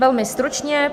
Velmi stručně.